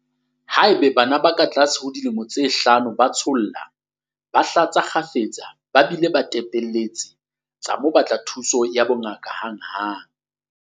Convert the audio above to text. Haeba bana ba katlase ho dilemo tse hlano ba tsholla, ba hlatsa kgafetsa ba bile ba tepelletse, tsa mo batla thuso ya bongaka hanghang.